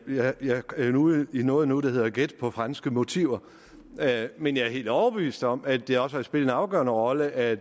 ude i noget nu der hedder gæt på franske motiver men jeg er helt overbevist om at det også har spillet en afgørende rolle at